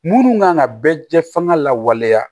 Munnu kan ka bɛɛ jɛ fɛngɛ lawaleya